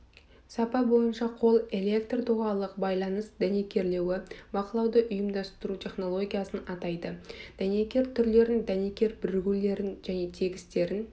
сапа бойынша қол электр доғалық байланыс дәнекерлеуі бақылауды ұйымдастыру технологиясын атайды дәнекер түрлерін дәнекер бірігулерін және тігістерін